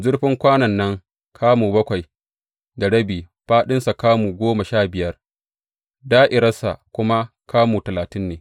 Zurfin kwanon nan kamu bakwai da rabi, fāɗinsa kamu goma sha biyar, da’irarsa kuma kamu talatin ne.